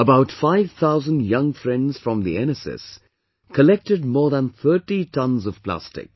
About 5000 young friends from the NSS collected more than 30 tonnes of plastic